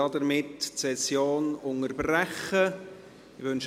Damit unterbreche ich die Session.